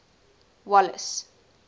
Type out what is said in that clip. wallace